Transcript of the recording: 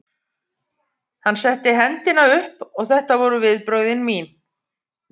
Hann setti hendina upp og þetta voru viðbrögð mín.